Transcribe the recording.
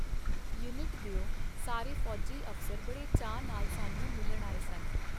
Unit ਦਿਓ ਸਾਰੇ ਫੌਜੀ ਅਫਸਰ ਬੜੇ ਚਾਅ ਨਾਲ ਸਾਨੂੰ ਮਿਲਣ ਆਏ ਸਨ.